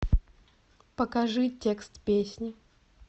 покажи текст песни